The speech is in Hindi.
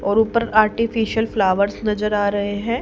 और ऊपर आर्टिफिशियल फ्लॉवर्स नजर आ रहे है।